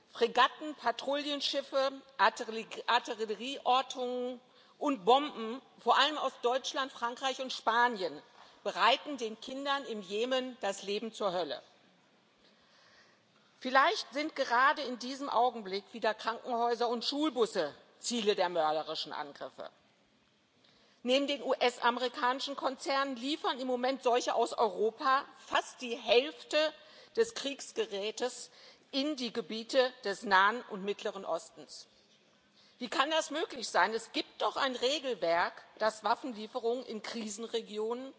Herr Präsident, liebe Kolleginnen und Kollegen! Wir können sagen, dass die Empörung über das todbringende Geschäft der Waffenexporte nie so groß war und auch nie so weit verbreitet war wie heute angesichts des Grauens im Jemen. Fregatten, Patrouillenschiffe, Artillerieortung und Bomben vor allem aus Deutschland, Frankreich und Spanien machen den Kindern im Jemen das Leben zur Hölle. Vielleicht sind gerade in diesem Augenblick wieder Krankenhäuser und Schulbusse Ziele der mörderischen Angriffe. Neben den US amerikanischen Konzernen liefern im Moment solche aus Europa fast die Hälfte des Kriegsgerätes in die Gebiete des Nahen und Mittleren Ostens. Wie kann das möglich sein? Es gibt doch ein Regelwerk, das Waffenlieferungen in Krisenregionen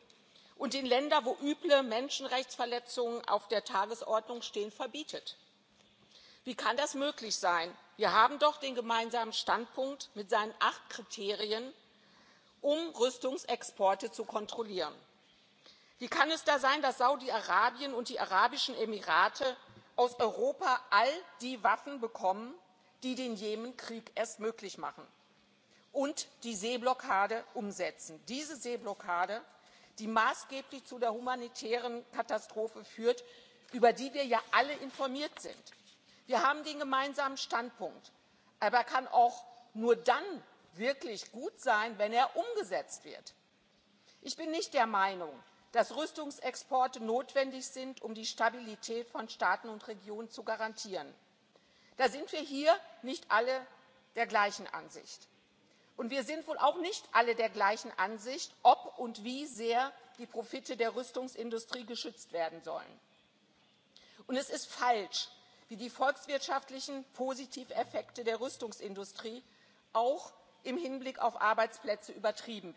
und in Länder, wo üble Menschenrechtsverletzungen auf der Tagesordnung stehen, verbietet. Wie kann das möglich sein? Wir haben doch den gemeinsamen Standpunkt mit seinen acht Kriterien, um Rüstungsexporte zu kontrollieren. Wie kann es da sein, dass Saudi Arabien und die Arabischen Emirate aus Europa all die Waffen bekommen, die den Jemen Krieg erst möglich machen, und die Seeblockade umsetzen diese Seeblockade, die maßgeblich zu der humanitären Katastrophe führt, über die wir ja alle informiert sind? Wir haben den gemeinsamen Standpunkt, aber er kann auch nur dann wirklich gut sein, wenn er umgesetzt wird. Ich bin nicht der Meinung, dass Rüstungsexporte notwendig sind, um die Stabilität von Staaten und Regionen zu garantieren. Da sind wir hier nicht alle der gleichen Ansicht. Und wir sind wohl auch nicht alle der gleichen Ansicht, ob und wie sehr die Profite der Rüstungsindustrie geschützt werden sollen. Es ist falsch, wie die volkswirtschaftlichen Positiveffekte der Rüstungsindustrie auch im Hinblick auf Arbeitsplätze übertrieben